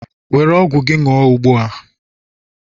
were ọgwụ gị ṅụṅ ugbu a!